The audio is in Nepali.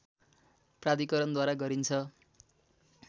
प्राधिकरणद्वारा गरिन्छ